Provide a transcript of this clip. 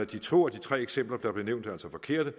de to af de tre eksempler der blev nævnt er altså forkerte